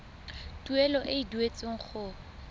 tuelo e e duetsweng go